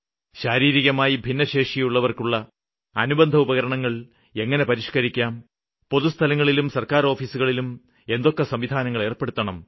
ശാരീരികമായി ഭിന്നശേഷിയുള്ളവര്ക്കുള്ള അനുബന്ധഉപകരണങ്ങള് എങ്ങനെ പരിഷ്ക്കരിക്കാം പൊതുസ്ഥലങ്ങളിലും സര്ക്കാര് ഓഫീസുകളിലും എന്തൊക്കെ സംവിധാനങ്ങള് ഏര്പ്പെടുത്തണം